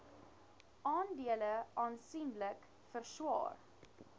aandele aansienlik verswaar